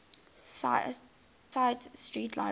tite street library